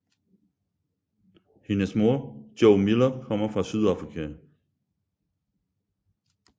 Hendes mor Jo Miller kommer fra Sydafrika